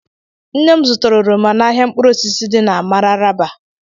Nne m zụtara oroma n'ahịa mkpụrụ osisi dị na Mararaba